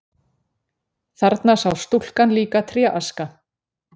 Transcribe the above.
Þarna sá stúlkan líka tréaska.